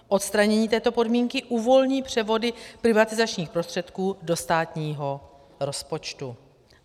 Odstranění této podmínky uvolní převody privatizačních prostředků do státního rozpočtu.